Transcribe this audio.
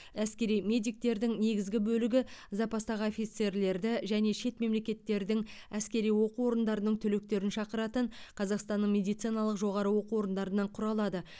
әскери медиктердің негізгі бөлігі запастағы офицерлерді және шет мемлекеттердің әскери оқу орындарының түлектерін шақыратын қазақстанның медициналық жоғары оқу орындарынан құралады